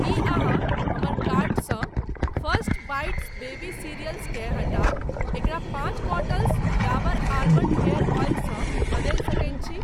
की अहाँ हमर कार्ट सँ फर्स्ट बाईट्स बेबी सीरियल्स केँ हटा एकरा पाँच bottles Dabur almond hair oil सँ बदलि सकैत छी ?